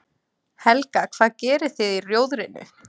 Helga: Hvað gerið þið í Rjóðrinu?